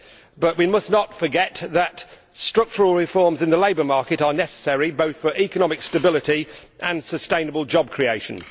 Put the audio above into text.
But we must not forget that structural reforms in the labour market are necessary both for economic stability and sustainable job creation.